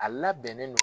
A labɛnnen don